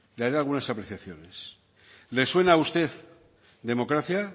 le haré algunas apreciaciones le suena a usted democracia